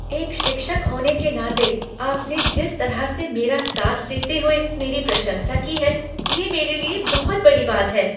एक शिक्षक होने के नाते आपने जिस तरह से मेरा साथ देते हुए मेरी प्रशंसा की है, ये मेरे लिए बहुत बड़ी बात है।